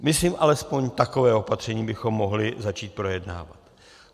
Myslím, alespoň takové opatření bychom mohli začít projednávat.